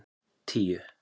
tíu